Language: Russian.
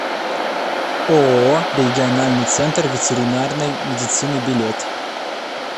ооо региональный центр ветеринарной медицины билет